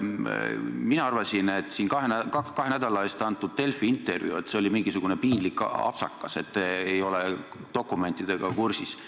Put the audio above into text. Mina arvasin, et kui te kahe nädala eest andsite Delfile intervjuu, siis juhtus mingisugune piinlik apsakas, et te ei olnud dokumentidega kursis.